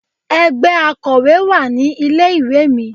Ẹgbẹ́ Akòwé wà ní ilé ìwé mi.